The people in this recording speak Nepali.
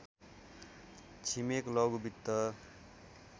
छिमेक लघु वित्त